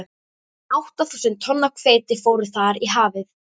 Átta þúsund tonn af hveiti fóru þar í hafið.